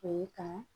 O ye kan